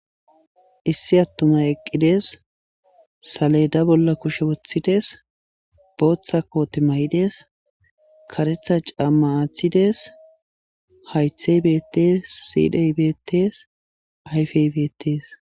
Issi attumay eqqi dees. Saleda bolla kushe woththi des. Booththa koote mayi des. Karetha camma athi des. hayithay bettes,siray bettes, ayife bettes.